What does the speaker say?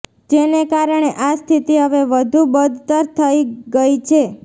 જેને કારણે આ સ્થિતિ હવે વધુ બદતર થઈ ગઈ છે